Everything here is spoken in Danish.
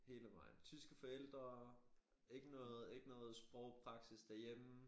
Hele vejen tyske forældre ikke noget ikke noget sprogpraksis derhjemme